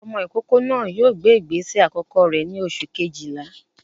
Ọmọ ìkókó náà yóò gbé ìgbésẹ̀ àkọ́kọ́ rẹ̀ ní oṣù Kejìlá